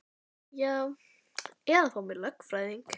Já eða að fá mér lögfræðing.